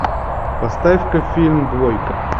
поставь ка фильм двойка